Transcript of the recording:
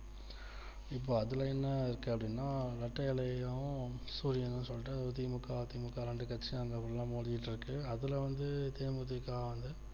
இப்போ அதுல என்ன இருக்கு அப்டின்னா ரெட்டையிலையும் சூரியனும் சொல்லிட்டு தி மு க அ தி மு க ரெண்டு கட்சியும் நிலைமை போயிட்டு ருக்கு அதுல வந்து தே மு தி க வந்து